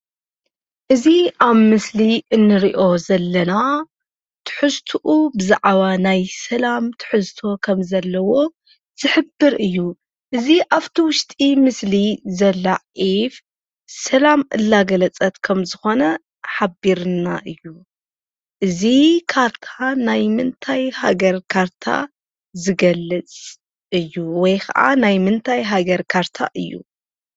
እዚ ኣብ ምስሊ እንሪኦ ዘለና ትሕዝትኡ ብዛዕባ ናይ ሰላም ትሕዝቶ ከም ዘለዎ ዝሕብር እዩ። እዚ ኣፍቲ ዉሽጢ ምስሊ ዘላ ዒፍ ሰላም እላገለፀት ከምዝኾነ ሓቢሩልና እዩ። እዚ ካርታ ናይ ምንታይ ሃገር ካርታ ዝገልፅ እዩ? ወይ ኸዓ ናይ ምንታይ ሃገር ካርታ እዩ?